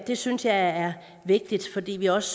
det synes jeg er vigtigt fordi vi også